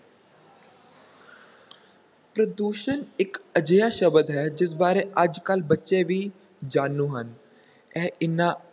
ਪ੍ਰਦੂਸ਼ਣ ਇੱਕ ਅਜਿਹਾ ਸ਼ਬਦ ਹੈ ਜਿਸ ਬਾਰੇ ਅੱਜ ਕੱਲ੍ਹ ਬੱਚੇ ਵੀ ਜਾਣੂ ਹਨ, ਇਹ ਇੰਨਾ